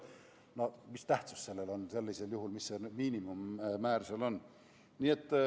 No mis tähtsust sellel on sellisel juhul, mis see miinimummäär seal on.